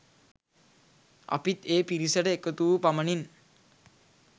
අපිත් ඒ පිරිසට එකතු වූ පමණින්